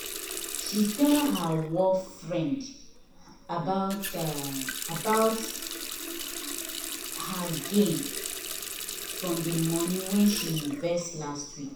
she tell her work friend about her about her gain from the money wen she invest last week friday